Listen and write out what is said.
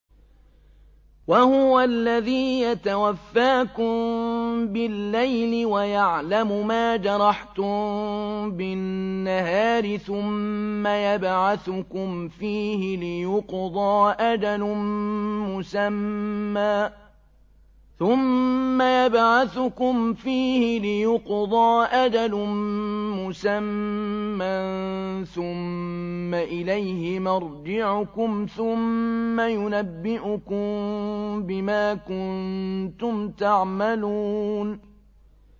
وَهُوَ الَّذِي يَتَوَفَّاكُم بِاللَّيْلِ وَيَعْلَمُ مَا جَرَحْتُم بِالنَّهَارِ ثُمَّ يَبْعَثُكُمْ فِيهِ لِيُقْضَىٰ أَجَلٌ مُّسَمًّى ۖ ثُمَّ إِلَيْهِ مَرْجِعُكُمْ ثُمَّ يُنَبِّئُكُم بِمَا كُنتُمْ تَعْمَلُونَ